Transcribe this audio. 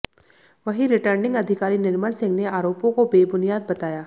वहीं रिटर्निंग अधिकारी निर्मल सिंह ने आरोपों को बेबुनियाद बताया